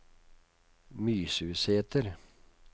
Mysusæter